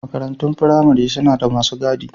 Makarantun firamare suna da masu gadi.